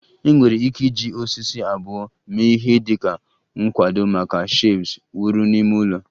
Enwere ike iji osisi abụọ mee ihe dị ka nkwado maka shelves wuru n'ime ụlọ